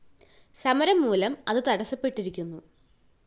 സമരം മൂലം അത് തടസ്സപ്പെട്ടിരിക്കുന്നു